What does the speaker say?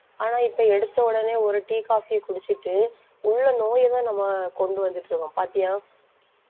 ஆனா இப்ப எடுத்த உடனே ஒரு tea, coffee யை குடிச்சிட்டு உள்ள நோயைத்தான் நம்ம கொண்டு வந்துட்டு இருக்கோம் பாத்தியா?